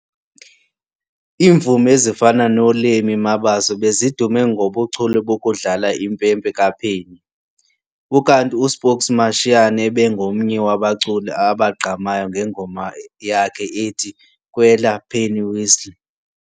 Iimvumi ezifana noLemmy Mabaso bezidume ngobuchule bokudlala impempe ka penny, ukanti uSpokes Mashiyane ebengomnye wabaculi abagqamayo ngengoma yakhe ethi kwela pennywhistle.